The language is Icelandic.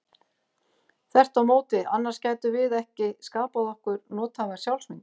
Þvert á móti, annars gætum við ekki skapað okkur nothæfa sjálfsmynd.